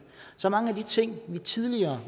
så mange af de ting vi tidligere